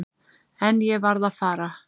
En ég varð að fara.